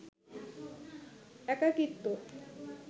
একাকীত্ব